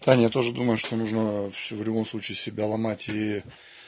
саня я тоже думаю что нужно в любом случае себя ломать и